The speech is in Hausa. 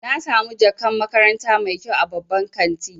Na samu jakan makaranta mai kyau a babban kanti.